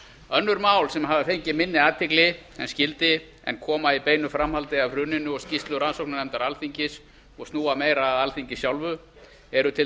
önnur mál sem hafa fengið minni athygli en skyldi en koma í beinu framhaldi af hruninu og skýrslu rannsóknarnefndar alþingis og snúa meira að alþingi sjálfu eru til